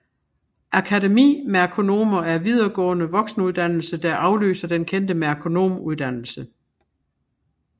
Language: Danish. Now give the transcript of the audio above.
Akademimerkonomer en videregående voksenuddannelse der afløser den kendte merkonomuddannelse